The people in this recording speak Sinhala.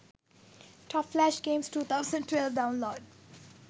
top flash games 2012 download